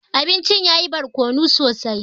Abincin yayi barkono sosai.